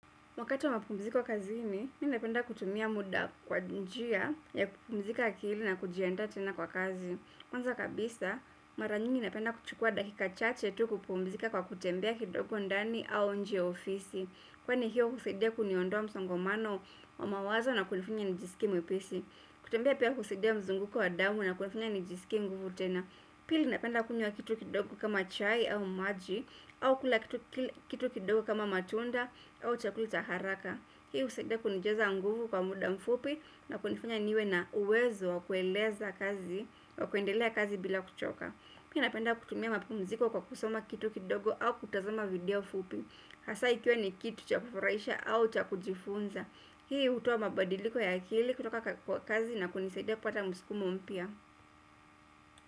Wakati wa mapumziko kazini, mi napenda kutumia muda kwa njia ya kupumzika akili na kujiandaa tena kwa kazi. Kwanza kabisa, mara nyingi napenda kuchukua dakika chache tu kupumzika kwa kutembea kidogo ndani au nje ya ofisi. Kwani hiyo husaidia kuondoa msongomano wa mawazo na kunifanya nijisikie mwepesi. Kutembea pia husaidia mzunguko wa damu na kunifanya nijisikie nguvu tena. Pili napenda kunywa kitu kidogo kama chai au maji au kula kitu kidogo kama matunda au chakula cha haraka hii husaidia kunijaza nguvu kwa muda mfupi na kunifanya niwe na uwezo wa kueleza kazi au kuendelea kazi bila kuchoka pili napenda kutumia mapumziko kwa kusoma kitu kidogo au kutazama video fupi hasa ikiwa ni kitu cha kufurahisha au cha kujifunza hii hutoa mabadiliko ya akili kutoka kwa kazi na kunisaidia kupata msukumo mpya.